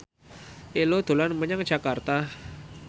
Ello dolan menyang Jakarta